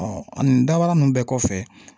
nin dabaa ninnu bɛɛ kɔfɛ